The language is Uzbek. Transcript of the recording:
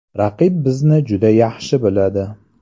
Raqib bizni juda yaxshi biladi.